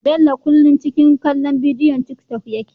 Bello kullun ciki kallon bidiwon tik tok yake